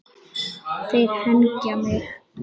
Þeir hengja mig?